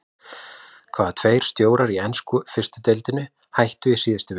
Hvaða tveir stjórar í ensku fyrstu deildinni hættu í síðustu viku?